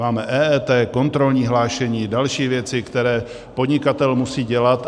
Máme EET, kontrolní hlášení, další věci, které podnikatel musí dělat.